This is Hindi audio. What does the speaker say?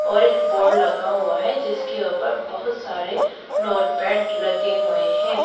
और एक बोर्ड लगा हुआ है जिसके ऊपर बहोत सारे नोटपैड लगे हुए हैं।